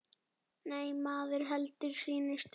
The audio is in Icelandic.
Nei, maður heldur sínu striki.